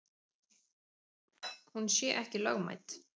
Hún sé ekki lögmæt.